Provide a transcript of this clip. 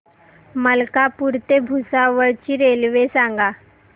मलकापूर ते भुसावळ ची रेल्वे सांगा